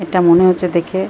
এটা মনে হচ্ছে দেখে --